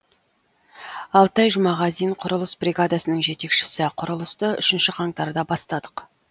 алтай жұмағазин құрылыс бригадасының жетекшісі құрылысты үшінші қаңтарда бастадық